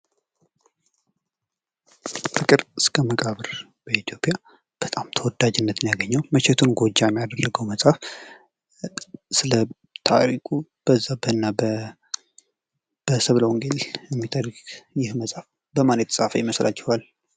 ፍቅር እስከ መቃብር በኢትዮጵያ በጣም ተወዳጅነትን ያገኘው መቼቱን ጎጃም ያደረገው መጽሐፍ ስለ ታሪኩ በዛብህ እና በሰብለ ወንጌል የሚተርክ ይህ መጽሐፍ በማለት የተፃፈ ይመስላችኋል?